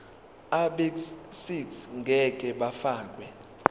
abegcis ngeke bafakwa